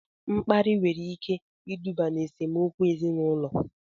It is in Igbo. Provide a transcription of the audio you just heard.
Mkparị nwere ike iduba n'esemokwu ezinaụlọ